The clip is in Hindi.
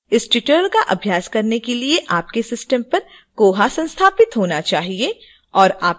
इस tutorial का अभ्यास करने के लिए आपके system पर koha संस्थापित होना चाहिए